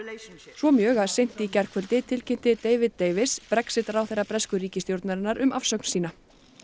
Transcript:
svo mjög að seint í gærkvöld tilkynnti David David Brexit ráðherra bresku ríkisstjórnarinnar um afsögn sína